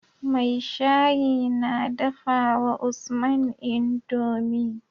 mai shayi na dafawa usman indomie